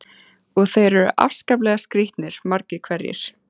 Og þeir eru afskaplega skrítnir, margir hverjir.